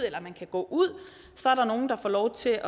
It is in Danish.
eller man kan gå ud så er der nogle der får lov til at